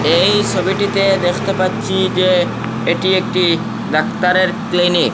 এই সোবিটিতে দেখতে পাচ্ছি যে এটি একটি ডাক্তারের ক্লিনিক ।